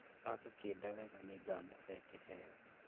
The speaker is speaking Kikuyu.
Agũkĩnda wega nĩngamũhee kĩheo